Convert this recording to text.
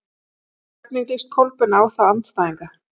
Hvernig líst Kolbeini á þá andstæðinga?